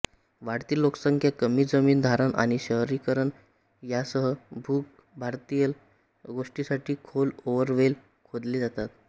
वाढती लोकसंख्या कमी जमीन धारण आणि शहरीकरण यासह भूगर्भातील गोष्ठीसाठी खोल बोअरवेल खोदले जातात